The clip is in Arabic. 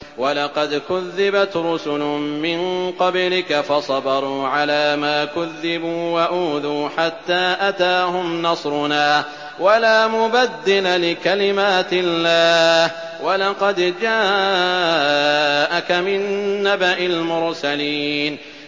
وَلَقَدْ كُذِّبَتْ رُسُلٌ مِّن قَبْلِكَ فَصَبَرُوا عَلَىٰ مَا كُذِّبُوا وَأُوذُوا حَتَّىٰ أَتَاهُمْ نَصْرُنَا ۚ وَلَا مُبَدِّلَ لِكَلِمَاتِ اللَّهِ ۚ وَلَقَدْ جَاءَكَ مِن نَّبَإِ الْمُرْسَلِينَ